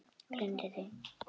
Gleymdu því!